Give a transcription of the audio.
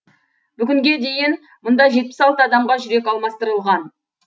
бүгінге дейін мұнда жетпіс алты адамға жүрек алмастырылған